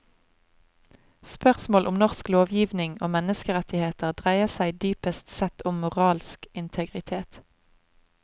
Spørsmål om norsk lovgivning og menneskerettigheter dreier seg dypest sett om moralsk integritet.